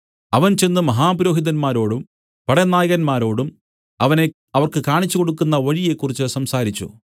അവൻ ചെന്ന് മഹാപുരോഹിതന്മാരോടും പടനായകന്മാരോടും അവനെ അവർക്ക് കാണിച്ചു കൊടുക്കുന്ന വഴിയെക്കുറിച്ചു സംസാരിച്ചു